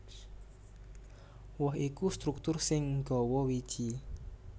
Woh iku struktur sing nggawa wiji